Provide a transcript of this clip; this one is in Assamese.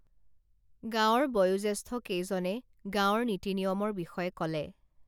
গাঁওৰ বয়োজেষ্ঠ কেইজনে গাওঁৰ নীতি নিয়মৰ বিষয়ে কলে